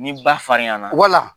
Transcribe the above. Ni ba farinyan nan;